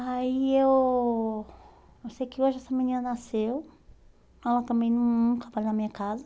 Aí eu eu sei que hoje essa menina nasceu, ela também nunca vai na minha casa.